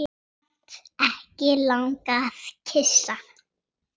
Samt ekki langað að kyssa.